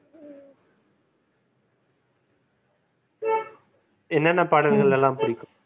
என்னென்ன பாடல்கள்லலாம் பிடிக்கும்?